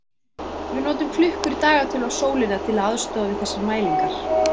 Við notum klukkur, dagatöl og sólina til aðstoðar við þessar mælingar.